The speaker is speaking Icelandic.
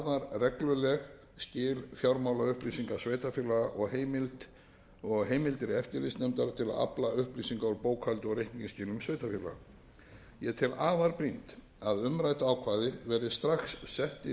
regluleg skil fjármálaupplýsinga sveitarfélaga og heimildir eftirlitsnefndar til að afla upplýsinga úr bókhaldi og reikningsskilum sveitarfélaga ég tel afar brýnt að umrædd ákvæði verði strax sett inn í